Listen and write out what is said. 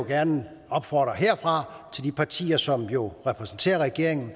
gerne opfordre de partier som jo repræsenterer regeringen